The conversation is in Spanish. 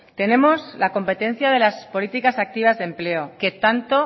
tenemos la competencia de las políticas activas de empleo que tanto